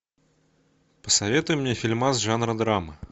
посоветуй мне фильмас жанра драма